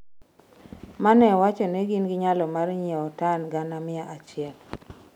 mane wacho ni gin gi nyalo mar nyiweo tan gana mia achiel